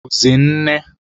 Ọ bụzi nne.